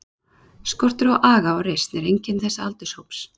Skortur á aga og reisn er einkenni þessa aldurshóps.